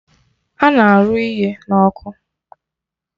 Ana arụ ihe n'ọkụ